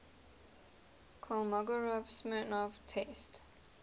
kolmogorov smirnov test